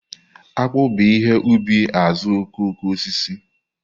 Akpu bu ihe ubi azuokokoosisi.